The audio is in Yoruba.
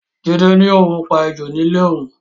Jide ní òun pa ejò ní ilé òun